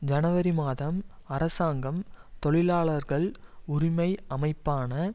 ஜனவரி மாதம் அரசாங்கம் தொழிலாளர்கள் உரிமை அமைப்பான